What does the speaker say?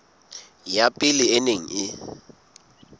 ya pele e neng e